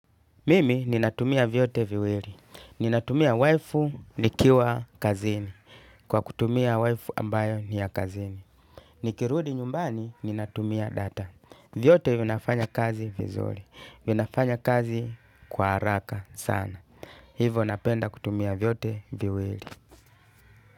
Mimi ninatumia vyote viwili. Ninatumia Wifi nikiwa kazini. Kwa kutumia wifi ambayo ni ya kazini. Nikirudi nyumbani ninatumia data. Vyote vinafanya kazi vizuri. Vinafanya kazi kwa haraka sana. Hivo napenda kutumia vyote viwili.